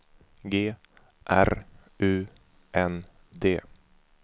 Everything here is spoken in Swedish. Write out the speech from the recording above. G R U N D